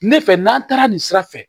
Ne fɛ n'an taara nin sira fɛ